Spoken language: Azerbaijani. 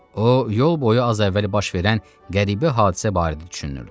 O yol boyu az əvvəl baş verən qəribə hadisə barədə düşünürdü.